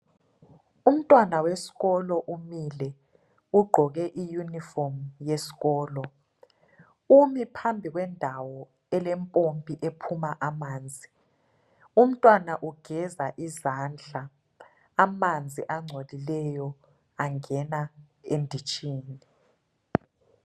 Umntwana wesikolo umile ugqoke iuniform yesikolo. Umi phambi kwendawo elempompi ephuma amanzi. Umntwana ugeza izandla, amanzi angcolileyo angena enditshini